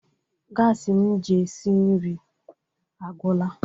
Gasi m ji esi nri agwụla.